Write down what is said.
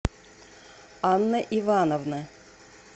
анна ивановна